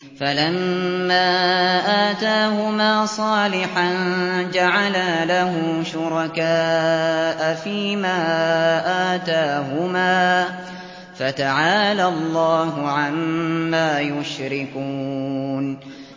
فَلَمَّا آتَاهُمَا صَالِحًا جَعَلَا لَهُ شُرَكَاءَ فِيمَا آتَاهُمَا ۚ فَتَعَالَى اللَّهُ عَمَّا يُشْرِكُونَ